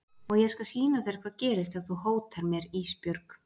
Og ég skal sýna þér hvað gerist ef þú hótar mér Ísbjörg.